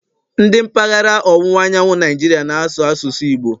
Ndi mpaghara ọwụwa anyanwụ Naijiria na-asụ asụsụ Igbo